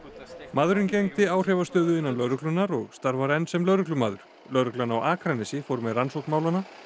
maðurinn gegndi áhrifastöðu innan lögreglunnar og starfar enn sem lögreglumaður lögreglan á Akranesi fór með rannsókn málanna